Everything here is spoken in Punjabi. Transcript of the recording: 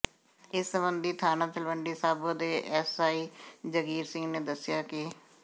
ਇਸ ਸਬੰਧੀ ਥਾਣਾ ਤਲਵੰਡੀ ਸਾਬੋ ਦੇ ਐੱਸਆਈ ਜੰਗੀਰ ਸਿੰਘ ਨੇ ਦੱਸਿਆ ਕਿ